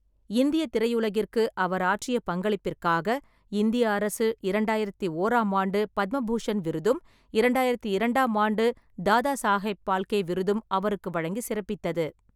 இந்திய திரையுலகிற்கு அவர் ஆற்றிய பங்களிப்பிற்காக, இந்திய அரசு, இரண்டாயிரத்து ஓராம் ஆண்டு பத்ம பூஷண் விருதும், இரண்டாயிரத்து இரண்டாம் ஆண்டு தாதா சாகேப் பால்கே விருதும் அவருக்கு வழங்கி சிறப்பித்தது.